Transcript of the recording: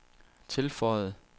tilføjede